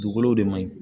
Dugukolo de man ɲi